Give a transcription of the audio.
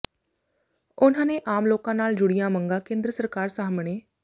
ਉਨ੍ਹਾਂ ਨੇ ਆਮ ਲੋਕਾਂ ਨਾਲ ਜੁੜੀਆਂ ਮੰਗਾਂ ਕੇਂਦਰ ਸਰਕਾਰ ਸਾਹਮਣੇ